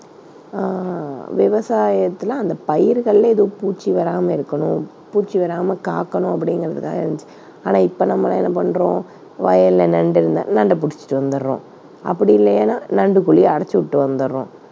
அஹ் விவசாயத்துல அந்தப் பயிர்கள்ல எதுவும் பூச்சி வராம இருக்கணும், பூச்சி வராம காக்கணும் அப்படிங்கறதுகாக இருந்துச்சு. ஆனா இப்ப நம்ம என்ன பண்றோம் வயல்ல நண்டு இருந்தா நண்டு பிடிச்சிட்டு வந்துர்றோம் அப்படி இல்லைன்னா நண்டுக் குழியை அடைச்சு விட்டு வந்துடுறோம்.